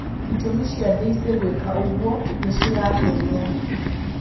Itũmi cia Daisy gũika ũgwo nishirakenia.